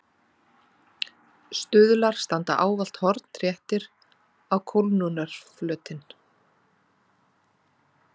Stuðlar standa ávallt hornréttir á kólnunarflötinn.